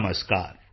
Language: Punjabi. ਨਮਸਕਾਰ